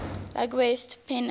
league west pennant